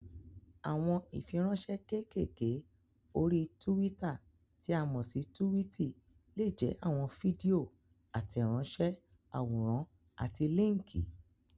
Àwọn ìfiránsẹ́ kékèké orí túwítà tí a mọ̀ sí túwìtì lè jẹ́ àwọn fídíò, àtẹ̀ránsẹ́, àwòrán àti líńkì.